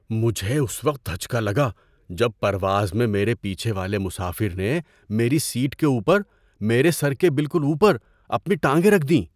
مجھے اس وقت دھچکا لگا جب پرواز میں میرے پیچھے والے مسافر نے میری سیٹ کے اوپر، میرے سر کے بالکل اوپر، اپنی ٹانگیں رکھ دیں!